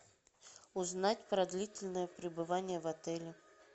узнать про длительное пребывание в отеле